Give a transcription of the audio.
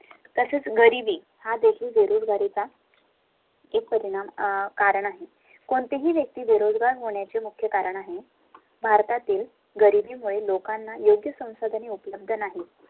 तसेच गरीबी हादेखील बेरीय करीता. चे परिणाम अं कारण आहे कोणतीही व्यक्ती बेरोजगार होण्या चे मुख्य कारण भारतातील गरीबी मुळे लोकांना योग्य संसाधने उपलब्ध नाही